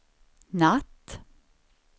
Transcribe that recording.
natt